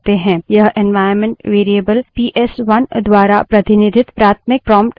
यह environment variable PS one द्वारा प्रतिनिधित प्राथमिक prompt string है